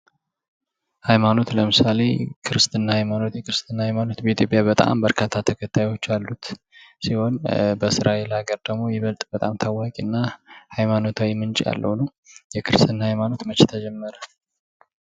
ሀይማኖት ለምሳሌ ክርስትና ሃይማኖት ክርስትና ሃይማኖት በኢትዮጵያ በጣም በርካታ ተከታዮች ያሉት ሲሆን በእስራኤል ሃገር ደግሞ ይበልጥ በጣም ታዋቂ እና ሀይማኖታዊ ምንጭ ያለው ነው። የክርስትና ሃይማኖት መቼ ተጀመረ?